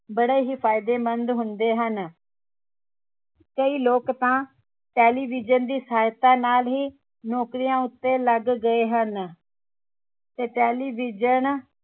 ਬੜੇ ਹੀ ਫਾਇਦੇਮੰਦ ਹੁੰਦੇ ਹਨ ਕਈ ਲੋਕ ਤਾਂ television ਦੀ ਸਹਾਇਤਾ ਨਾਲ ਹੀ ਨੌਕਰੀਆਂ ਉਤੇ ਲੱਗ ਗਏ ਹਨ ਤੇ television